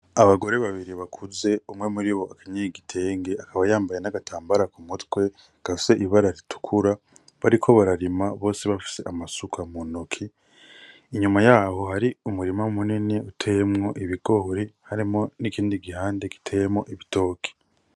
Abagore babiri bakuze umwe muri bo akanyigegitenge akaba yambaye n'agatambara ku mutwe ga se ibara ritukura bariko bararima bose bafise amasuka mu noki inyuma yaho hari umurima munini uteemwo ibigore harimo n'ikindi gihande giteyemo ibitoki.